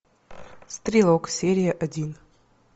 стрелок серия один